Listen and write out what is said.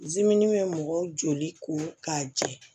bɛ mɔgɔ joli ko k'a jɛ